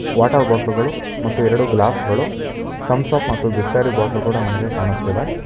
Water ಬಾಟ್ಲುಗಳು ಮತ್ತು ಎರಡು ಗ್ಲಾಸ್ ಗಳು ತಮ್ಸ್ ಅಪ್ ಮತ್ತು ಬಿಸ್ಲೆರಿ ಬಾಟ್ಲು ಕೂಡ ನನಗೆ ಕಾಣಿಸ್ತಿದೆ.